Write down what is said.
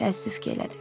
Təəssüf ki, elədi.